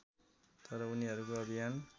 तर उनीहरूको अभियान